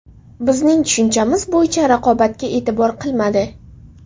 Bizning tushunchamiz bo‘yicha raqobatga e’tibor qilmadi”.